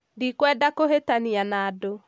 Ndikwenda kũhĩtania na andũ